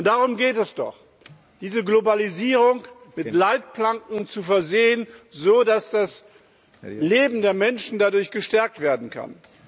Darum geht es doch Diese Globalisierung mit Leitplanken zu versehen, so dass das Leben der Menschen dadurch gestärkt werden kann.